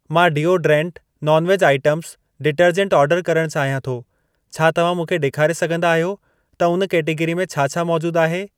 मां deodorant, non veg items, detergent order करण चाहियां थो। छा तव्हां मूंखे ॾेखारे सघंदा आहियो त उन कैटेगरी में छा छा मौजूद आहे?